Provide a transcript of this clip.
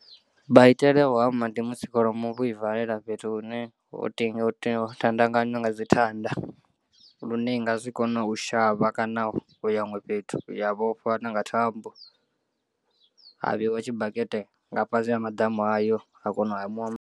Maitele a u hama ndi musi kholomo vho i valela fhethu hune ho tandekanyiwa nga dzi thanda lune i nga si kone u shavha kana u ya huṅwe fhethu ya vhofha na nga thambo ha vheiwa tshibakete nga fhasi ha maḓamu ayo ha kona u hamiwa.